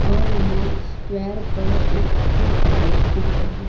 और यहां स्क्वेयर पर एक स्ट्रीट लाइट दिख रही--